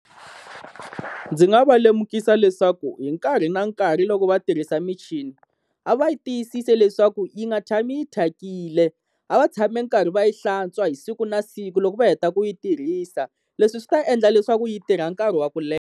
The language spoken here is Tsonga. Ndzi nga va lemukisa leswaku hi nkarhi na nkarhi loko va tirhisa michini, a va yi tiyisisi leswaku yi nga tshami yi thyakile, a va tshame karhi va yi hlantswa hi siku na siku loko va heta ku yi tirhisa. Leswi swi ta endla leswaku yi tirha nkarhi wa ku leha.